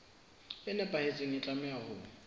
e nepahetseng e tlameha ho